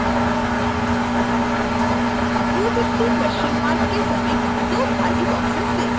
250 question mark के समीप दो काली boxes देखें